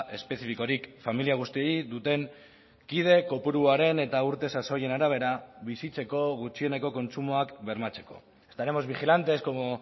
espezifikorik familia guztiei duten kide kopuruaren eta urte sasoien arabera bizitzeko gutxieneko kontsumoak bermatzeko estaremos vigilantes como